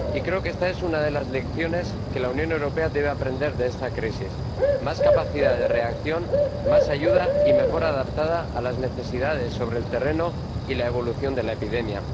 Y creo que esta es una de las lecciones que la Unión Europea debe aprender de esta crisis más capacidad de reacción, más ayuda y mejor adaptada a las necesidades sobre el terreno y la evolución de la epidemia.